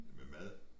Med mad